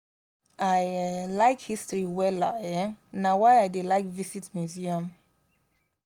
i um like history wella um na why i dey like visit museum